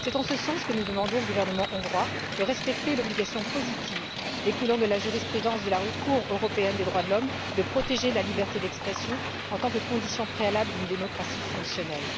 C'est en ce sens que nous demandons au gouvernement hongrois de respecter l'obligation positive, découlant de la jurisprudence de la Cour européenne des droits de l'homme, de protéger la liberté d'expression en tant que condition préalable d'une démocratie fonctionnelle.